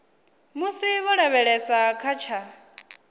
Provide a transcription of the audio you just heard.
musi vho lavhelesa kha tsha